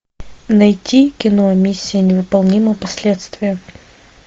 найти кино миссия невыполнима последствия